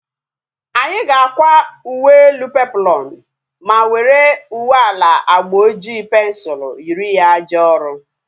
Anyị ga-akwa uwe elu peploonu ma were uwe ala agba oji pensul yiri ya jee ọrụ